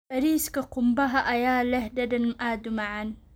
Bariiska qumbaha ayaa leh dhadhan aad u macaan.